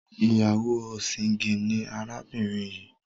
ìyáwó ọ̀sìngín ni arábìnrin yìí.